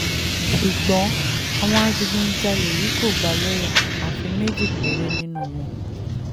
ṣùgbọ́n àwọn adigunjalè yìí kò gbà lọ́ọ́yà àfi àwọn méjì péré nínú wọn